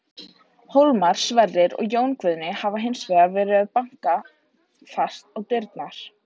Hólmar, Sverrir og Jón Guðni hafa hins vegar verið að banka fast á dyrnar.